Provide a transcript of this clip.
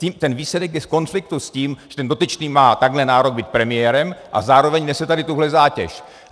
Ten výsledek je v konfliktu s tím, že ten dotyčný má takhle nárok být premiérem a zároveň nese tady tuhle zátěž.